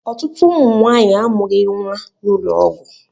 Ọtụtụ ụmụ nwanyị a amụghi nwa n'ụlọ ọgwụ.